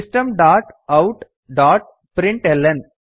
system dot out dot println